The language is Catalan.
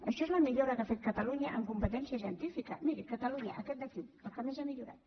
això és la millora que ha fet catalunya en competència científica miri catalunya aquest d’aquí la que més ha millorat